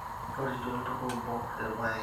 Ntorritie oltupa obo irrpaek